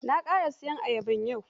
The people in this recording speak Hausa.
Na ƙara sayo wata ayabar yau.